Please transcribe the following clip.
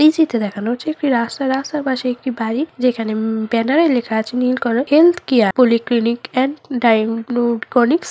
এই চিত্রে দেখানো হচ্ছে একটি রাস্তা রাস্তার পাশে একটি বাড়ী যেখানে উমম ব্যানারে লেখা আছে নীল কালা হেলথ কেয়ার --